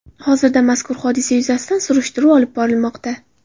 Hozirda mazkur hodisa yuzasidan surishtiruv olib borilmoqda.